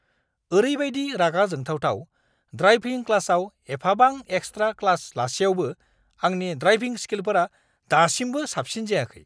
ओरैबायदि रागा जोंथावथाव, ड्रायभिं क्लासाव एफाबां एक्सट्रा क्लास लासेयावबो आंनि ड्रायभिं स्किलफोरा दासिमबो साबसिन जायाखै!